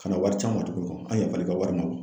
Kana wari c'an ma tuguni an yafara i ka wari ma